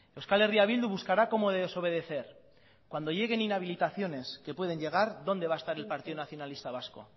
euskal herria bildu buscará cómo desobedecer cuando lleguen inhabilitaciones que pueden llegar dónde va a estar el partido nacionalista vasco